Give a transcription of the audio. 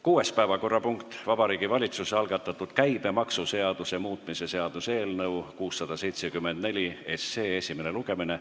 Kuues päevakorrapunkt, Vabariigi Valitsuse algatatud käibemaksuseaduse muutmise seaduse eelnõu 674 esimene lugemine.